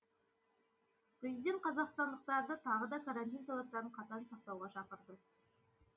президент қазақстандықтарды тағы да карантин талаптарын қатаң сақтауға шақырды